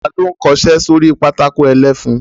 Ta ló ń kọṣẹ́ sórí pátákó ẹlẹ́fun?